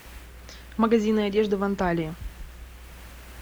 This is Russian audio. магазины одежды в анталии